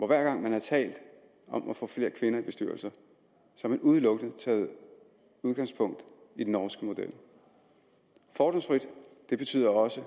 hver gang man har talt om at få flere kvinder i bestyrelser udelukkende taget udgangspunkt i den norske model fordomsfrit betyder også